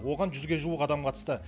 оған жүзге жуық адам қатысты